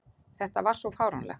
Þetta var svo fáránlegt!